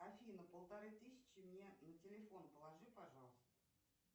афина полторы тысячи мне на телефон положи пожалуйста